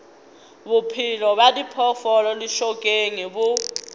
bophelo bja diphoofolo lešokeng bo